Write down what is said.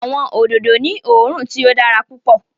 Awọn ododo ni oòrùn tí o dára pupọ